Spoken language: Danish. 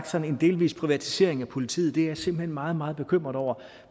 sådan en delvis privatisering af politiet det er jeg simpelt hen meget meget bekymret over